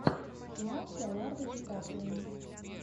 кино с леонардо ди каприо